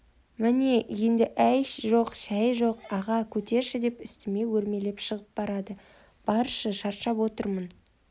міне енді әй жоқ шай жоқ аға көтерші деп үстіме өрмелеп шығып барады баршы шаршап отырмын